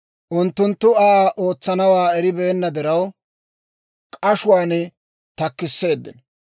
Unttunttu Aa ootsanawaa eribeenna diraw, k'ashuwaan takkisseeddino.